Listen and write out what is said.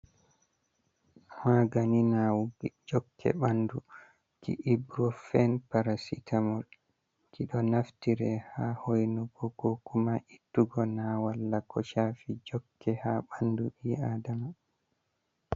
Magani nawugo jokke ɓandu Oburofen Parasitamol ɗo naftire ha hoinu go ko kuma ittugo na walle ko shafi jokke ha ɓandu ɓii adama.